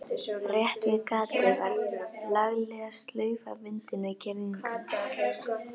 Rétt við gatið var lagleg slaufa bundin við girðinguna.